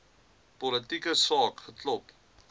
politieke saak geklop